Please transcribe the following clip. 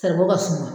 Saribɔ ka suma